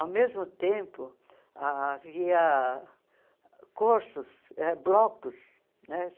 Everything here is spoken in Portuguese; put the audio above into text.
Ao mesmo tempo, havia cursos, eh blocos, né?